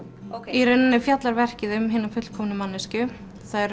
í rauninni fjallar verkið um hina fullkomnu manneskju þær